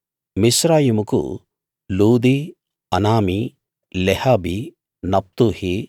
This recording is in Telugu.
మిస్రాయిముకు లూదీ అనామీ లెహాబీ నప్తుహీ